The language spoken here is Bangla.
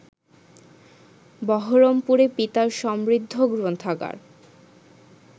বহরমপুরে পিতার সমৃদ্ধ গ্রন্থাগার